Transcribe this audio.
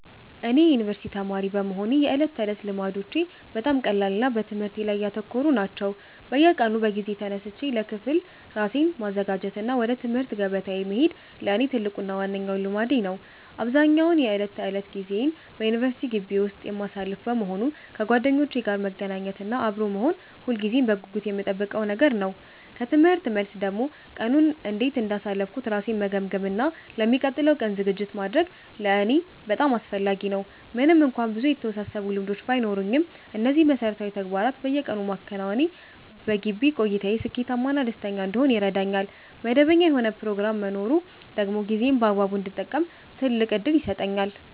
እኔ የዩኒቨርሲቲ ተማሪ በመሆኔ የዕለት ተዕለት ልማዶቼ በጣም ቀላልና በትምህርቴ ላይ ያተኮሩ ናቸው። በየቀኑ በጊዜ ተነስቼ ለክፍል ራሴን ማዘጋጀት እና ወደ ትምህርት ገበታዬ መሄድ ለእኔ ትልቁና ዋነኛው ልማዴ ነው። አብዛኛውን የዕለት ተዕለት ጊዜዬን በዩኒቨርሲቲ ግቢ ውስጥ የማሳልፍ በመሆኑ፣ ከጓደኞቼ ጋር መገናኘት እና አብሮ መሆን ሁልጊዜም በጉጉት የምጠብቀው ነገር ነው። ከትምህርት መልስ ደግሞ ቀኑን እንዴት እንዳሳለፍኩ ራሴን መገምገም እና ለሚቀጥለው ቀን ዝግጅት ማድረግ ለእኔ በጣም አስፈላጊ ነው። ምንም እንኳን ብዙ የተወሳሰቡ ልማዶች ባይኖሩኝም፣ እነዚህን መሠረታዊ ተግባራት በየቀኑ ማከናወኔ በግቢ ቆይታዬ ስኬታማ እና ደስተኛ እንድሆን ይረዳኛል። መደበኛ የሆነ ፕሮግራም መኖሩ ደግሞ ጊዜዬን በአግባቡ እንድጠቀም ትልቅ ዕድል ይሰጠኛል።